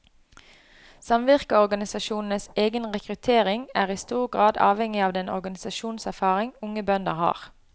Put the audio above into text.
Samvirkeorganisasjonenes egen rekruttering er i stor grad avhengig av den organisasjonserfaring unge bønder har.